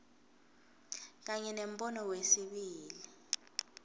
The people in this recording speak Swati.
kanye nembono wesibili